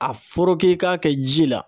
A foroke i k'a kɛ ji la.